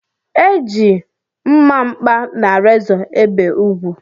E ji mmamkpa na rezọ ebe ugwu